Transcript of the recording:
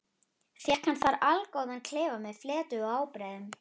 Fékk hann þar allgóðan klefa með fleti og ábreiðum.